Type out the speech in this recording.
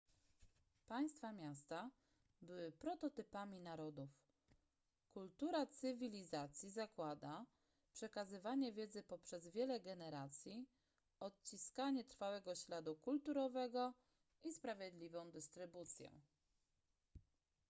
państwa-miasta były prototypami narodów kultura cywilizacji zakłada przekazywanie wiedzy poprzez wiele generacji odciskanie trwałego śladu kulturowego i sprawiedliwą dystrybucję